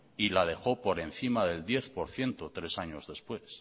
y la dejó por encima del diez por ciento tres años después